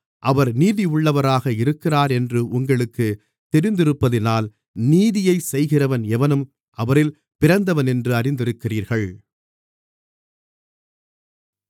அவர் நீதியுள்ளவராக இருக்கிறாரென்று உங்களுக்குத் தெரிந்திருப்பதினால் நீதியைச் செய்கிறவன் எவனும் அவரில் பிறந்தவனென்று அறிந்திருக்கிறீர்கள்